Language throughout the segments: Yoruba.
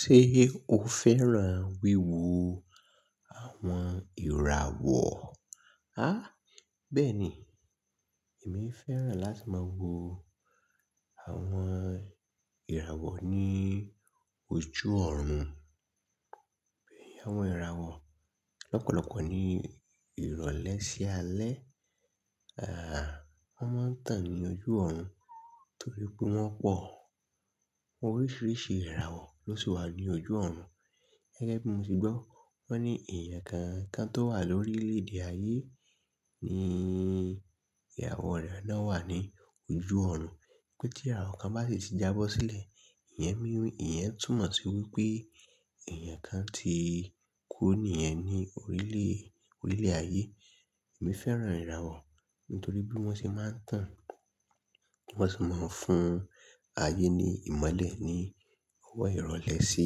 Ṣé o fẹ́ràn wíwo àwọn ìràwọ̀? Àh! Bẹ́ẹ̀ ni, èmi fẹ́ràn láti máa wo àwọn ìràwọ̀ ní ojú ọ̀rùn. N àwọn ìràwọ̀ lọ́pọ̀lọpọ̀ ní ìrọ̀lẹ́ sí alẹ́, à, wọ́n máa ń tàn ní ojú ọ̀rùn torí pé wọ́n pọ̀. Àwọn oríṣiríṣi ìràwọ̀ ló sì wà ní ojú ọ̀rùn. Gẹ́gẹ́ bí mo ti gbọ́, wọ́n ní èèyàn kankan tó wà lórílẹ̀ èdè ayé ni ìràwọ̀ re náà wà ní ojú ọ̀rùn. Pé tí ìràwọ̀ kan bá sì ti jábọ́ sílẹ̀, ìyẹn ni, ìyẹn túmọ̀ sí wípé èèyàn kan ti kú ní yen ní orílẹ̀, orílẹ̀ ayé. Èmi fẹ́ràn ìràwọ̀ nítorí bí wọ́n ṣe máa ń tàn, bí wọ́n ṣe máa ń fún ayé ní ìmọ́lẹ̀ ní ọwọ́ ìrọ̀lẹ́ sí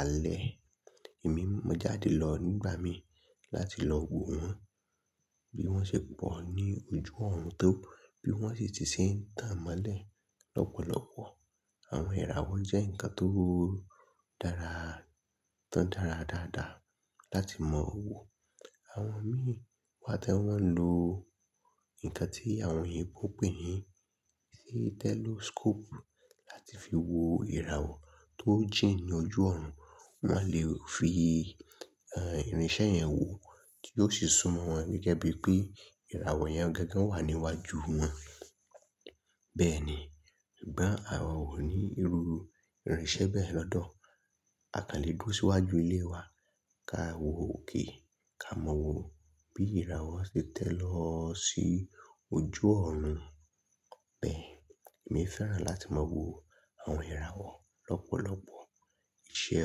alẹ́. Èmi, mo jáde lọ nígbà mi láti lọ wo wọn bí wọ́n ṣe pọ̀ ní ojú ọ̀rùn tó, bí wọ́n ṣe ti ṣe ń tàn mọ́lẹ̀ lọ́pọ̀lọpọ̀. Àwọn ìràwọ̀ jẹ́ ǹkan tó dára, tó dára dáadáa láti mọ̀ wo. Àwọn mìí wa tiwon lo nnkàn tí àwọn oyinbo ń pè ní, tí tẹloscope láti fi wo ìràwọ̀ tó jìn ní ojú ọ̀rùn. Wọ́n a lè fi, ehn, irinṣẹ́ yẹn wo, kí ó sì sún mọ́ wọn gẹ́gẹ́ bí pé ìràwọ̀ yẹn gangan wà níwájú wọn. Bẹ́ẹ̀ ni, sugbon àwọn ò ní irú irinṣẹ́ bẹ́ẹ̀ lọ́dọ̀. A kàn lè duró síwájú ilé wa, ka wo òkè, ká mọ́ wo bí ìràwọ̀ ṣe tẹ̀ lọ sí ojú ọ̀rùn. Bẹ́ẹ̀, èmi fẹ́ràn láti máa wo àwọn ìràwọ̀ lọ́pọ̀lọpọ̀. Iṣẹ́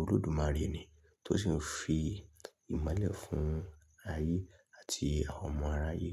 Olódùmarè ni tó sì ń fi ìmọ́lẹ̀ fún ayé àti àwọn ọmọ aráyé.